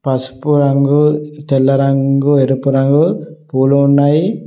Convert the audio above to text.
పసుపు రంగు తెల్ల రంగు ఎరుపు రంగు పూలు ఉన్నాయి.